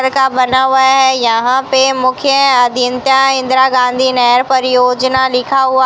का बना हुआ है यहां पे मुख्य अधीनता इंदिरा गांधी नहर परियोजना लिखा हुआ--